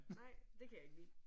Nej det kan jeg ikke lide